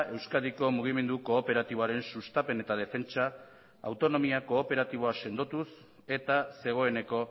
euskadiko mugimendu kooperatiboaren sustapen eta defentsa autonomia kooperatiboa sendotuz eta zegoeneko